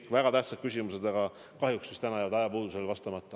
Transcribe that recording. Kõik väga tähtsad küsimused, aga kahjuks täna jäävad ajapuudusel vastamata.